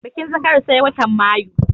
Bikin zakari sai watan mayu